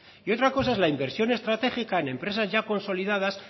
y otra cosa es la inversión estratégica en empresas ya consolidadas